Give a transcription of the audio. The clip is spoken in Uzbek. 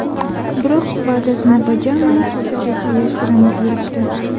Biroq va’dasini bajarmay, hozirgacha yashirinib yuribdi.